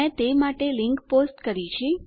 મેં તે માટે લીંક પોસ્ટ કરી છે